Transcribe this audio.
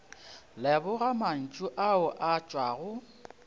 leboga mantšu ao a tšwago